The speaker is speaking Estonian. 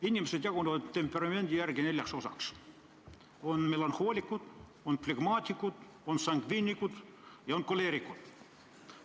Inimesed jagunevad temperamendi järgi neljaks: melanhoolikud, flegmaatikud, sangviinikud ja koleerikud.